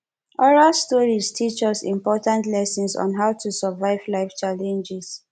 oral stories teach us important lessons on how to survive life challenges